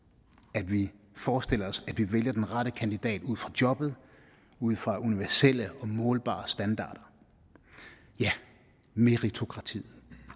at vi forestiller os at vi vælger den rette kandidat ud fra jobbet ud fra universelle og målbare standarder ja meritokratiet